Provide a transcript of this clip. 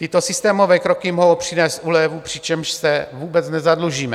Tyto systémové kroky mohou přinést úlevu, přičemž se vůbec nezadlužíme.